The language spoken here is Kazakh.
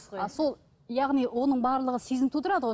а сол яғни оның барлығы сезім тудырады ғой